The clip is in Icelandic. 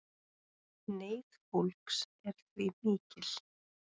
Neyð fólks er því mikil